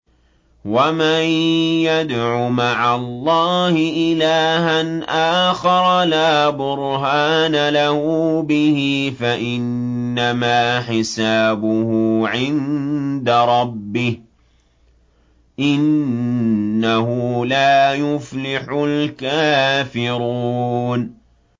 وَمَن يَدْعُ مَعَ اللَّهِ إِلَٰهًا آخَرَ لَا بُرْهَانَ لَهُ بِهِ فَإِنَّمَا حِسَابُهُ عِندَ رَبِّهِ ۚ إِنَّهُ لَا يُفْلِحُ الْكَافِرُونَ